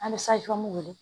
An bɛ wele